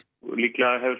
líklega hefur